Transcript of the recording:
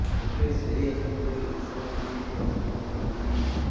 ତେବେ ସେହି ଆସନରେ ଲୋକସଭା ପାଇଁ ଭୋଟ୍ ବନ୍ଦ ହେବନାହିଁ